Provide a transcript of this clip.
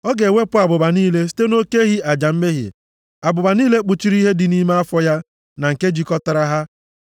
Ọ ga-ewepụ abụba niile site nʼoke ehi aja mmehie, abụba niile kpuchiri ihe dị nʼime afọ ya na nke jikọtara ha,